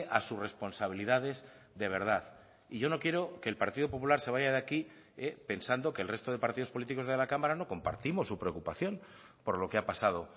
a sus responsabilidades de verdad y yo no quiero que el partido popular se vaya de aquí pensando que el resto de partidos políticos de la cámara no compartimos su preocupación por lo que ha pasado